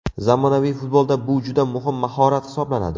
Zamonaviy futbolda bu juda muhim mahorat hisoblanadi.